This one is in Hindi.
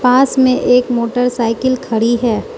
पास में एक मोटरसाइकिल खड़ी हैं।